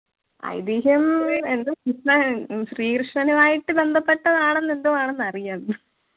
ഐതിഹ്യം എന്ത് കൃഷ്ണൻ ശ്രീകൃഷ്ണനുമായിട്ട് ബന്ധപെട്ടതാണെന്ന് എന്തോ ആണെന്നറിയാം